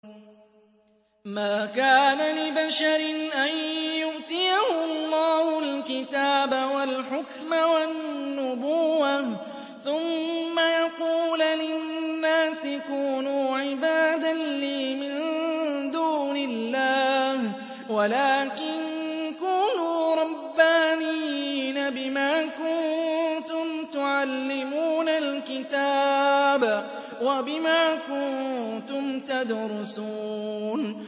مَا كَانَ لِبَشَرٍ أَن يُؤْتِيَهُ اللَّهُ الْكِتَابَ وَالْحُكْمَ وَالنُّبُوَّةَ ثُمَّ يَقُولَ لِلنَّاسِ كُونُوا عِبَادًا لِّي مِن دُونِ اللَّهِ وَلَٰكِن كُونُوا رَبَّانِيِّينَ بِمَا كُنتُمْ تُعَلِّمُونَ الْكِتَابَ وَبِمَا كُنتُمْ تَدْرُسُونَ